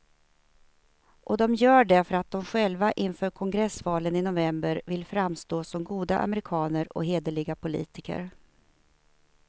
Och de gör det för att de själva inför kongressvalen i november vill framstå som goda amerikaner och hederliga politiker.